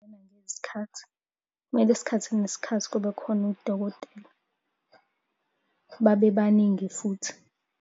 Kumele isikhathi nesikhathi kube khona udokotela, babebaningi futhi.